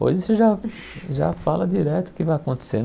Hoje você já já fala direto o que vai acontecer.